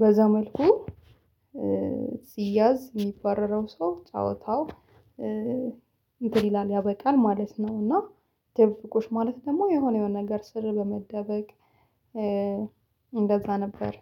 በዛ መልኩ ሲያዝ የሚባረረው ሰው ጨዋታው እንትን ይላል ያበቃል ማለት ነው። እና ድብብቆሽ ማለት ደግሞ የሆነ የሆነ ነገር ስር በመደበቅ እንደዛ ነበር